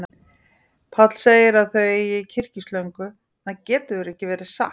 Páll segir að þau eigi kyrkislöngu, en það getur ekki verið satt.